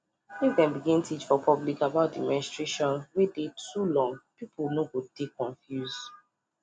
if dem begin teach for public about the menstration wey dey too long people no go dey confused